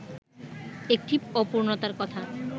একটি অপূর্ণতার কথা